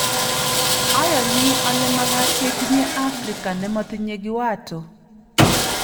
"Ayoni ole makaat ketinye Africa ne matinyei kiwato."